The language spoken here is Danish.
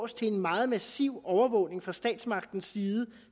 til en meget massiv overvågning fra statsmagtens side